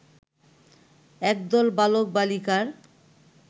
একদল বালক-বালিকার